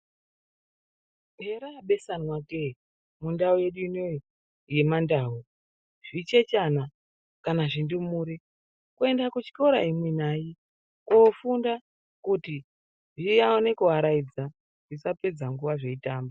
Herabesanwa ke mundau yedu inoi yemandau zvichechana kana zvindumure kuenda kuchikora imwi nai kofunda kuti zvione kuaraidza zvisapedza nguwa zveitamba.